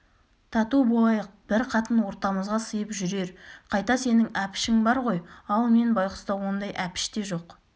тату болайық бір қатын ортамызға сыйып жүрер қайта сенің әпішің бар ғой ал мен байғұста ондай әпіш те жоқ